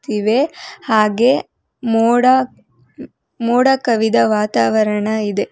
ಇವೆ ಹಾಗೆ ಮೋಡ ಮೋಡ ಕವಿದ ವಾತಾವರಣ ಇದೆ.